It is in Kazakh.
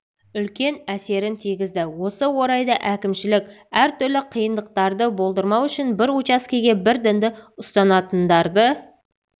үлкен әсерін тигізді осы орайда әкімшілік әртүрлі қиындықтарды болдырмау үшін бір учаскеге бір дінді ұстанатындарды